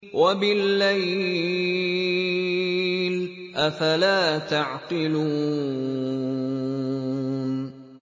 وَبِاللَّيْلِ ۗ أَفَلَا تَعْقِلُونَ